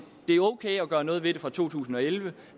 det er okay at gøre noget ved det fra to tusind og elleve